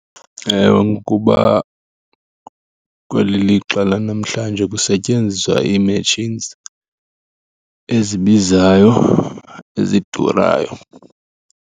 Ewe, ngokuba kweli lixa lanamhlanje kusetyenziswa ii-machines ezibizayo, ezidurayo.